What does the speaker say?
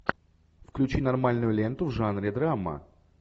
включи нормальную ленту в жанре драма